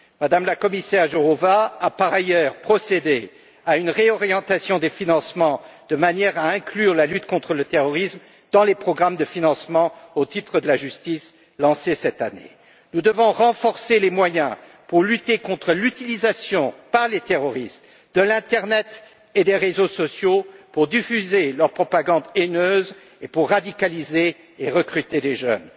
Mme la commissaire Jourová a par ailleurs procédé à une réorientation des financements, de manière à inclure la lutte contre le terrorisme dans les programmes de financement lancés cette année au titre de la justice. Nous devons renforcer les moyens pour lutter contre l'utilisation, par les terroristes, de l'internet et des réseaux sociaux pour diffuser leur propagande haineuse et pour radicaliser et recruter des jeunes.